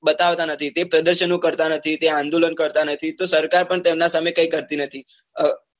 બતાવતા નથી કે પ્રદર્શનો કરતા નથી કે આંદોલન કરતા નથી તો સરકાર પણ તેમના સામે કઈ કરતી નથી.